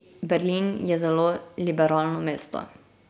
Berlin je zelo liberalno mesto.